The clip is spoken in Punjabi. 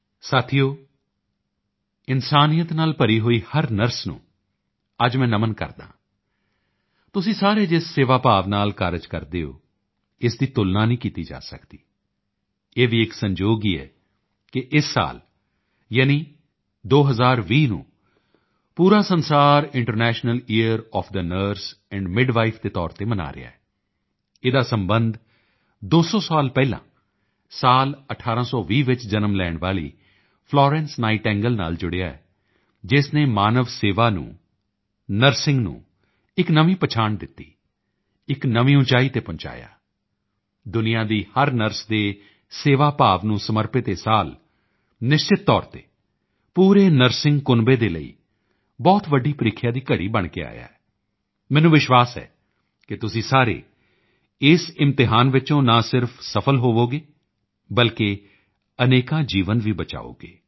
ਸਾਥੀਓ ਇਨਸਾਨੀਅਤ ਨਾਲ ਭਰੀ ਹੋਈ ਹਰ ਨਰਸ ਨੂੰ ਅੱਜ ਮੈਂ ਨਮਨ ਕਰਦਾ ਹਾਂ ਤੁਸੀਂ ਸਾਰੇ ਜਿਸ ਸੇਵਾ ਭਾਵ ਨਾਲ ਕਾਰਜ ਕਰਦੇ ਹੋ ਇਸ ਦੀ ਤੁਲਨਾ ਨਹੀਂ ਕੀਤੀ ਜਾ ਸਕਦੀ ਇਹ ਵੀ ਇੱਕ ਸੰਜੋਗ ਹੀ ਹੈ ਕਿ ਇਸ ਸਾਲ ਯਾਨੀ 2020 ਨੂੰ ਪੂਰਾ ਸੰਸਾਰ international year of the nurse and midwife ਦੇ ਤੌਰ ਤੇ ਮਨਾ ਰਹਾ ਹੈ ਇਸ ਦਾ ਸਬੰਧ 200 ਸਾਲ ਪਹਿਲਾਂ ਸਾਲ 1820 ਵਿੱਚ ਜਨਮ ਲੈਣ ਵਾਲੀ ਫਲੋਰੈਂਸ ਨਾਈਟਿੰਗੇਲ ਨਾਲ ਜੁੜਿਆ ਹੈ ਜਿਸ ਨੇ ਮਾਨਵ ਸੇਵਾ ਨੂੰ ਨਰਸਿੰਗ ਨੂੰ ਇੱਕ ਨਵੀਂ ਪਛਾਣ ਦਿੱਤੀ ਇੱਕ ਨਵੀਂ ਉਚਾਈ ਤੇ ਪਹੁੰਚਾਇਆ ਦੁਨੀਆਂ ਦੀ ਹਰ ਨਰਸ ਦੇ ਸੇਵਾ ਭਾਵ ਨੂੰ ਸਮਰਪਿਤ ਇਹ ਸਾਲ ਨਿਸ਼ਚਿਤ ਤੌਰ ਤੇ ਪੂਰੇ ਨਰਸਿੰਗ ਕੁਨਬੇ ਦੇ ਲਈ ਬਹੁਤ ਵੱਡੀ ਪ੍ਰੀਖਿਆ ਦੀ ਘੜੀ ਬਣ ਕੇ ਆਇਆ ਮੈਨੂੰ ਵਸ਼ਿਵਾਸ ਹੈ ਕਿ ਤੁਸੀਂ ਸਾਰੇ ਇਸ ਇਮਤਿਹਾਨ ਵਿੱਚ ਨਾ ਸਿਰਫ਼ ਸਫਲ ਹੋਵੋਗੇ ਬਲਕਿ ਅਨੇਕਾਂ ਜੀਵਨ ਵੀ ਬਚਾਓਗੇ